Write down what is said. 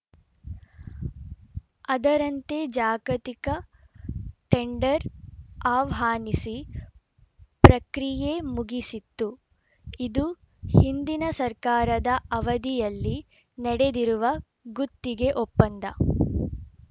ಅದರಂತೆ ಜಾಗತಿಕ ಟೆಂಡರ್‌ ಆಹ್ವಾನಿಸಿ ಪ್ರಕ್ರಿಯೆ ಮುಗಿಸಿತ್ತು ಇದು ಹಿಂದಿನ ಸರ್ಕಾರದ ಅವಧಿಯಲ್ಲಿ ನಡೆದಿರುವ ಗುತ್ತಿಗೆ ಒಪ್ಪಂದ